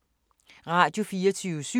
Radio24syv